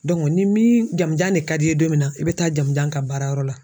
ni min jamujan de ka di ye don min na i bɛ taa jamujan ka baarayɔrɔ la.